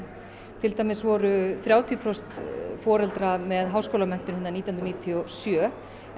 til dæmis voru þrjátíu prósent foreldra með háskólamenntun nítján hundruð níutíu og sjö en